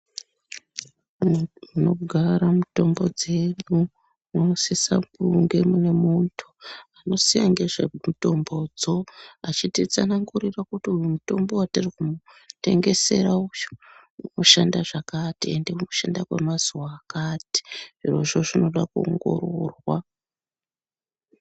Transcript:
Munogara mitombo dzedu munosise kunge mune munhu anoziya ngezve mitombo dzo achititsanangurira kuti uyu mutombo watiri kumutengesera uyu unoshanda zvakati ende unoshanda kwemazuwa akati zvirozvo zvinoda kuongororwa.